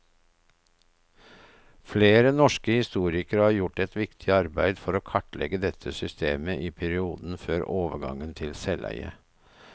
Flere norske historikere har gjort et viktig arbeid for å kartlegge dette systemet i perioden før overgangen til selveie.